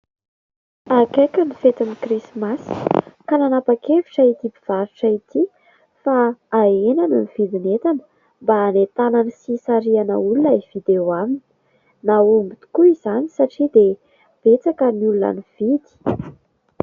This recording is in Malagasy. Akaiky ny fetin'ny krismasy ka nanapa-kevitra ity mpivarotra ity fa hahenany ny vidin'entana mba hanentanany sy hisarihany olona hividy eo aminy. Nahomby tokoa izany satria dia betsaka ny olona nividy.